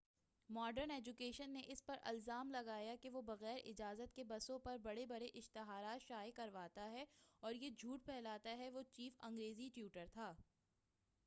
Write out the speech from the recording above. modern education نے اس پر الزام لگایا کہ وہ بغیر اجازت کے بسوں پر بڑے بڑے اشتہارات شائع کرواتا ہے اور یہ جھوٹ پھیلاتا ہے کہ وہ چیف انگریزی ٹیوٹر تھا